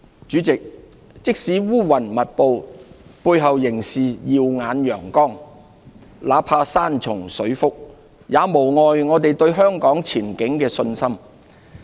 主席，即使烏雲密布，背後仍是耀眼陽光；那怕山重水複，也無礙我們對香港前景的信心。